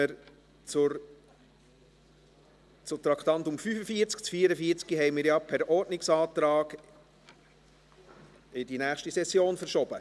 Das Traktandum 44 haben wir ja per Ordnungsantrag in die nächste Session verschoben.